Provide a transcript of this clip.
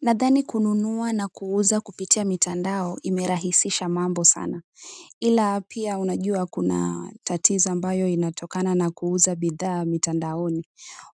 Nadhani kununua na kuuza kupitia mitandao imerahisisha mambo sana ila pia unajua kuna tatizo ambayo inatokana na kuuza bidha mitandaoni